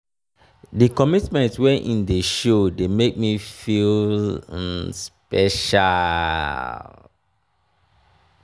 di commitment wey im dey show dey make me feel um special. um